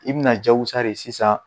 I bina jakusare sisan.